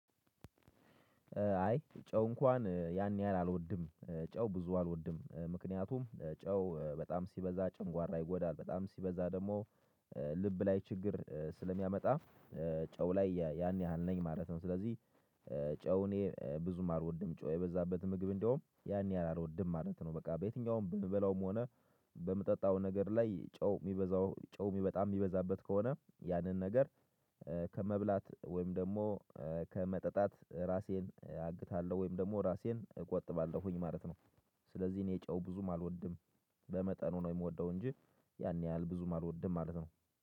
አይ ጨው እንኳን ያን ያህል አልወድም ጨው ብዙ አልወድም ምክንያቱም ጨው በጣም ሲበዛ ጨጓራ ይጎዳል በጣም ሲበዛ ደግሞ ልብ ላይ ችግር ስለሚያመጣ ጨው ላይ ያን ያህል ነኝ ማለት ነው። ስለዚህ ጨው እኔ ብዙም አልወድም ጨው የበዛበት ምግብ እንደውም ያን ያህል አልወድም ማለት ነው። በቃ በየትኛውም በምበላውም ሆነ በምጠጣው ነገር ላይ ጨው የሚበዛው ጨው በጣም የሚበዛበት ከሆነ ያንን ነገር። ከመብላት ወይም ደግሞ ከመጠጣት ራሴን አግታለው ወይም ደግሞ ራሴን እቆጥባለሁኝ ማለት ነው። ስለዚህ እኔ ጨው ብዙም አልወድም። በመጠኑ ነው የምወደው እንጂ ያን ያህል ብዙም አልወድም ማለት ነው።